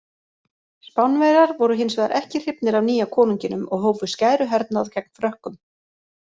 Spánverjar voru hins vegar ekki hrifnir af nýja konunginum og hófu skæruhernað gegn Frökkum.